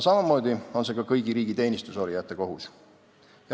Samamoodi on see aga ka kõigi riigi teenistuses olijate kohus.